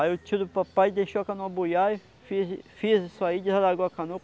Aí o tio do papai deixou a canoa buiar, fez fez isso aí, desalagou a canoa.